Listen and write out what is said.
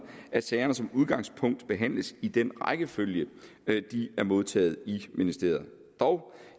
at sagerne som udgangspunkt behandles i den rækkefølge de er modtaget i ministeriet dog